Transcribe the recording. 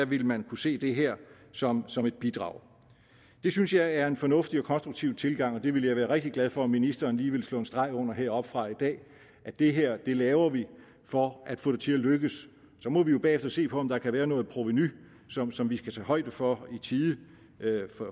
ville man kunne se det her som som et bidrag det synes jeg er en fornuftig og konstruktiv tilgang og det vil jeg være rigtig glad for om ministeren lige vil slå en streg under heroppefra i dag at det her laver vi for at få det til at lykkes så må vi jo bagefter se på om der kan være noget provenu som som vi skal tage højde for i tide